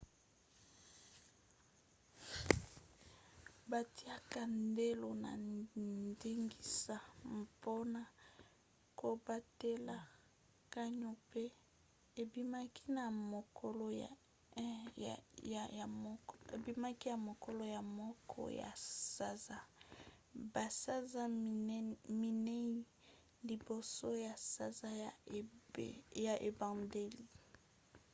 batiaka ndelo na ndingisa mpona kobatela canyon mpe ebimaki na mokolo ya 1 ya sanza basanza minei liboso ya sanza ya ebandeli